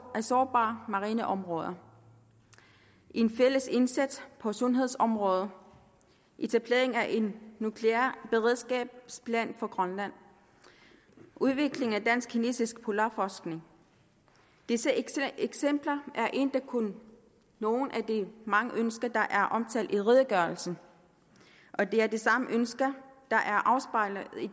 sårbare marineområder en fælles indsats på sundhedsområdet etablering af en nuklear beredskabsplan for grønland udvikling af dansk kinesisk polarforskning disse eksempler er endda kun nogle af de mange ønsker der er omtalt i redegørelsen og det er de samme ønsker der er afspejlet i